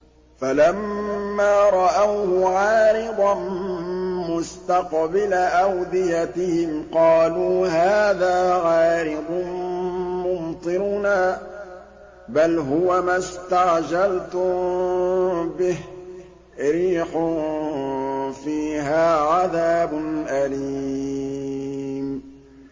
فَلَمَّا رَأَوْهُ عَارِضًا مُّسْتَقْبِلَ أَوْدِيَتِهِمْ قَالُوا هَٰذَا عَارِضٌ مُّمْطِرُنَا ۚ بَلْ هُوَ مَا اسْتَعْجَلْتُم بِهِ ۖ رِيحٌ فِيهَا عَذَابٌ أَلِيمٌ